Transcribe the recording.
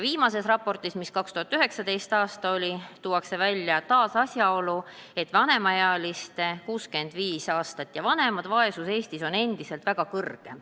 Viimases raportis, mis tehti 2019. aastal, tuuakse välja taas asjaolu, et vanemaealiste vaesus on Eestis endiselt väga kõrge.